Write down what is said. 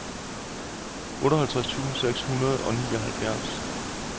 otteoghalvtreds tusind seks hundrede og nioghalvfjerds